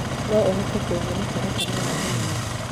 no ũhote kũhee mũtaratara wa thenema